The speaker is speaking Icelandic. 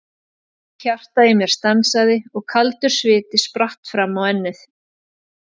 Hjartað í mér stansaði og kaldur sviti spratt fram á ennið.